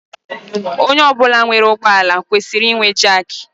Onye ọbula nwèrè ụgbọ ala kwesịrị inwe jak.